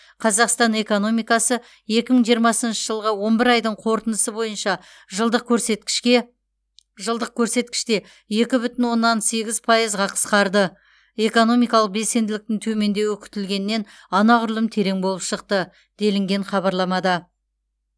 қазақстан экономикасы екі мың жиырмасыншы жылғы он бір айдың қорытындысы бойынша жылдық көрсеткішке жылдық көрсеткіште екі бүтін оннан сегіз пайызға қысқарды экономикалық белсенділіктің төмендеуі күтілгеннен анағұрлым терең болып шықты делінген хабарламада